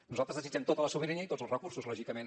nosaltres desitgem tota la sobirania i tots els recursos lògicament